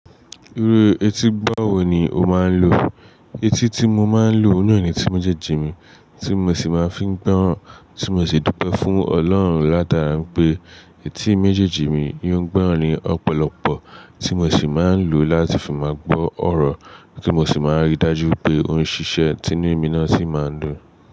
Iru etí gbọ́ wo ni o máa ń lò? Etí tí mo máa ń lò ní ọ̀ní ni tí méjèèjì mi, tí mo sì máa ń fi gbọ́ràn, tí mo sì dúpẹ́ fún Ọlọ́run látara pé etí méjèèjì mi yóò gbọ́ràn ni ọ̀pọ̀lọpọ̀, tí mo sì máa ń lò láti fi máa gbọ́ ọ̀rọ̀ kí n sì máa rí i dájú pé ohun ṣíṣe tinú mi náà ṣì máa dùn.